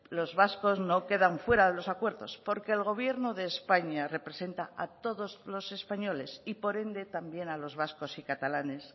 los vascos no quedan fuera de los acuerdos porque el gobierno de españa representa a todos los españoles y por ende también a los vascos y catalanes